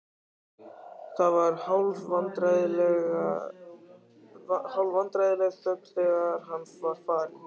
Það var hálfvandræðaleg þögn þegar hann var farinn.